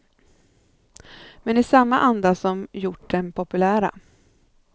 Men i samma anda som gjort dem populära.